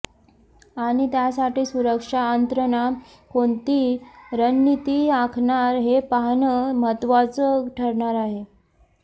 आणि त्यासाठी सुरक्षा यंत्रणा कोणती रणनिती आखणार हे पाहणं महत्त्वाचं ठरणार आहे